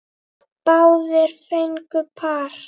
Báðir fengu par.